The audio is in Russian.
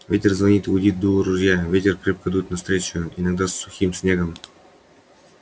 ветер звонит и гудит в дуло ружья ветер крепко дует навстречу иногда с сухим снегом